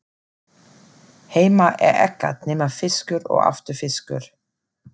Heima er ekkert nema fiskur og aftur fiskur.